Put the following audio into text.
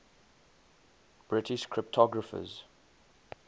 british cryptographers